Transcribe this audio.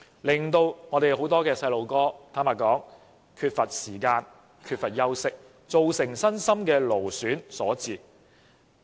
這樣令很多小朋友缺乏空閒時間、缺乏休息，造成身心勞損。